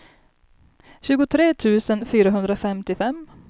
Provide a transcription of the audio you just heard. tjugotre tusen fyrahundrafemtiofem